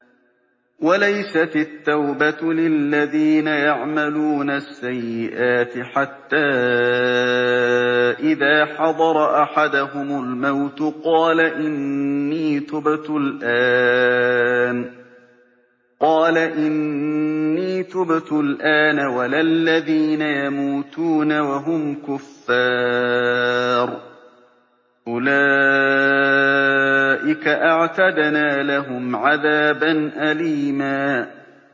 وَلَيْسَتِ التَّوْبَةُ لِلَّذِينَ يَعْمَلُونَ السَّيِّئَاتِ حَتَّىٰ إِذَا حَضَرَ أَحَدَهُمُ الْمَوْتُ قَالَ إِنِّي تُبْتُ الْآنَ وَلَا الَّذِينَ يَمُوتُونَ وَهُمْ كُفَّارٌ ۚ أُولَٰئِكَ أَعْتَدْنَا لَهُمْ عَذَابًا أَلِيمًا